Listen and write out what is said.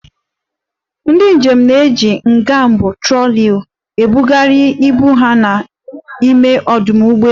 Ndị njem na-eji ngwa ibu (troli) ebugharị ibu ha n'ime ọdụ ụgbọelu.